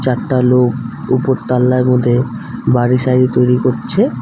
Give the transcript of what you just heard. একটা লোক ওপর তাল্লার মধ্যে বাড়ি সারি তৈরি করছে।